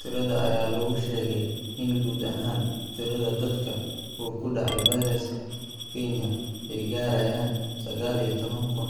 Tirada ayaa lagu sheegay in guud ahaan tirada dadka uu ku dhacay fayraska Kenya ay gaarayaan sagaal iyo tobankuun